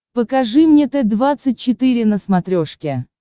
покажи мне т двадцать четыре на смотрешке